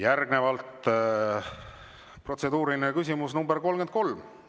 Järgnevalt protseduuriline küsimus nr 33.